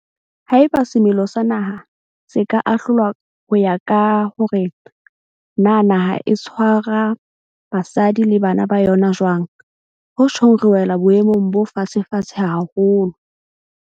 Haeba semelo sa naha se ka ahlolwa ho ya ka hore na naha e tshwara basadi le bana ba yona jwang, ho tjhong re wela boemong bo fatshefatshe haholo.